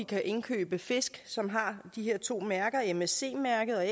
kan indkøbe fisk som har de her to mærker nemlig msc mærket og